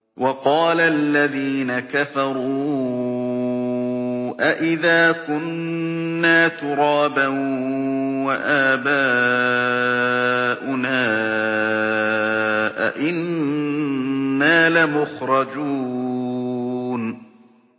وَقَالَ الَّذِينَ كَفَرُوا أَإِذَا كُنَّا تُرَابًا وَآبَاؤُنَا أَئِنَّا لَمُخْرَجُونَ